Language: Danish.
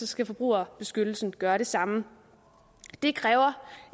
skal forbrugerbeskyttelsen gøre det samme det kræver